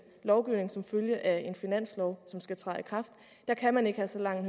lovgivning som følge af en finanslov som skal træde i kraft kan man ikke have så lang